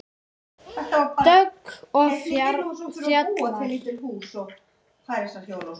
Dögg og Fjalar.